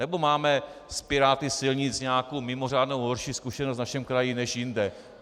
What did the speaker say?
Nebo máme s piráty silnic nějakou mimořádnou horší zkušenost v našem kraji než jinde?